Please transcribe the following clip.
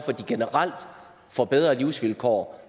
at de generelt får bedre livsvilkår